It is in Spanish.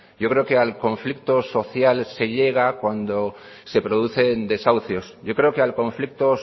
yo creo que al conflicto social se llega cuando se producen desahucios yo creo que al conflicto